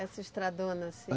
Essa estradona assim.